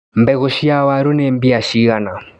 Mbegũ cia waru nĩ mbia cigana.